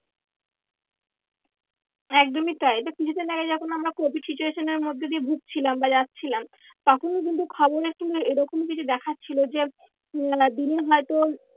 একদমই তাই এই তো কিছু দিন আগে যখন আমরা covid situation এর মধ্যে দিয়ে ভুগছিলাম বা যাচ্ছিলাম। তখনো কিন্তু খবরে কিন্তু এরকমই কিছু দেখাচ্ছিল যে আহ দিনে হয় তো